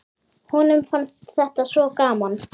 Honum fannst þetta svo gaman.